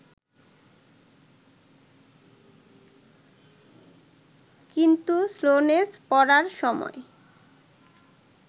কিন্তু স্লোনেস পড়ার সময়